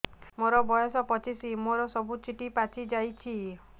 ମୋର ବୟସ ପଚିଶି ମୋର ସବୁ ଚୁଟି ପାଚି ଯାଇଛି